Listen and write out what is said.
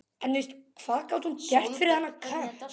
Hvað gat hún gert fyrir þennan kött?